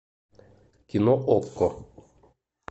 кино окко